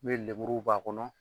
N bɛ lemuru b'a kɔnɔ